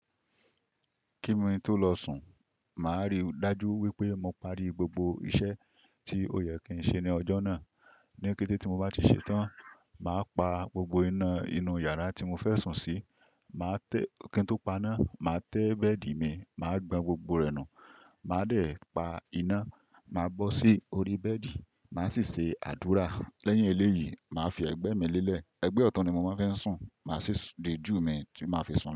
Kímí tó lọ sùn, màá rí dájú wípé mo pari gbogbo iṣẹ́ tí ó yẹ kí n ṣe ní ọjọ́ náà. Ni kété tí mo bá ti ṣetán, màá pa gbogbo iná inú yàrá tí mo fẹ́ sùn sí. Má tẹ́, kí n tó paná, màá tẹ́ bẹ́ẹ̀dì mi, màá gbọn gbogbo rẹ̀ nù. Màá dè pa iná, màá bọ́ sí orí bẹ́ẹ̀dì, màá sì ṣe àdúrà. Lẹ́yìn eléyìí, màá fi ẹgbẹ́ mi lélẹ̀. Ẹgbẹ́ ọ̀tún ni mo máa ń fẹ́ sùn. Màá sì di júù mi tí màá fi sùn lọ.